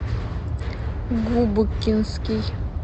губкинский